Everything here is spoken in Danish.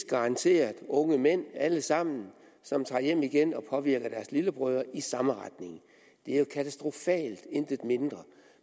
garanteret unge mænd alle sammen som tager hjem igen og påvirker deres lillebrødre i samme retning det er jo katastrofalt intet mindre